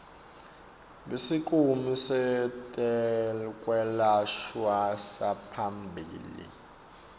besikimu setekwelashwa saphambilini